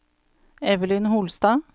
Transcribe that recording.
Evelyn Holstad